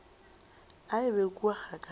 a e be kua kgakala